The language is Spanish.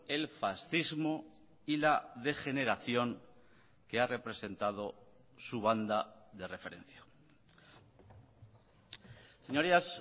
el fascismo y la degeneración que ha representado su banda de referencia señorías